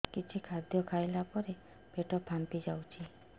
କିଛି ଖାଦ୍ୟ ଖାଇଲା ପରେ ପେଟ ଫାମ୍ପି ଯାଉଛି